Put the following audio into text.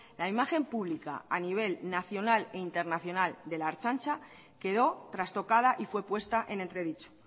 la imagen pública a nivel nacional e internacional de la ertzaintza quedó trastocada y fue puesta en entredicho